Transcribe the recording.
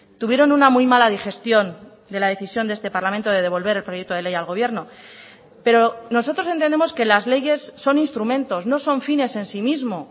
tuvieron una muy mala digestión de la decisión de este parlamento de devolver el proyecto de ley al gobierno pero nosotros entendemos que las leyes son instrumentos no son fines en sí mismo